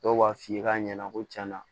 Dɔw b'a f'i ye k'a ɲɛna ko cɛn na